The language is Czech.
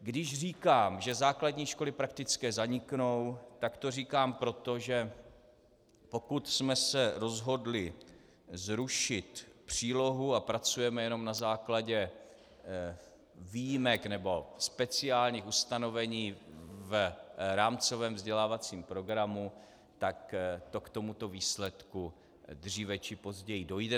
Když říkám, že základní školy praktické zaniknou, tak to říkám proto, že pokud jsme se rozhodli zrušit přílohu a pracujeme jenom na základě výjimek nebo speciálních ustanovení v rámcovém vzdělávacím programu, tak to k tomuto výsledku dříve či později dojde.